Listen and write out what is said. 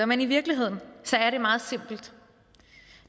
men i virkeligheden er det meget simpelt